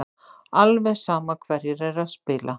Alveg sama hverjir eru að spila.